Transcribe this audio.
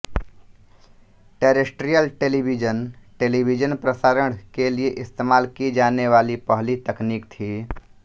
terrestrial television television प्रसारण के लिए इस्तेमाल की जाने वाली पहली तकनीक थी